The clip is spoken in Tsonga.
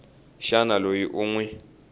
xana loyi u n wi